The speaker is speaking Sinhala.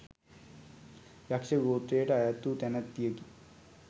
යක්‍ෂ ගෝත්‍රයට අයත් වූ තැනැත්තියකි.